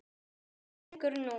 Þarna liggur nú